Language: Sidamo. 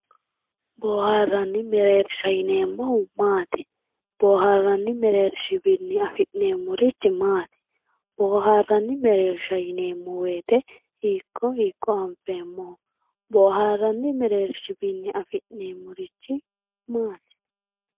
Boharani mereersha yinemohu maati boharani merershini afinemorich maat boharani mereersha yinemo woyite hiiko hiiko anfemoho boharani merershiwiini afinemorichi maati.